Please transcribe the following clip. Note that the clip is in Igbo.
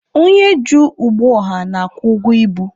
Onye ji ụgbọ ọha na-akwụ ụgwọ ibu.